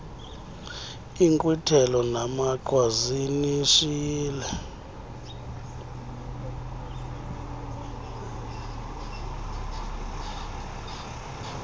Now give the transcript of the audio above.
inkqwithelo namaqhwa zinishiye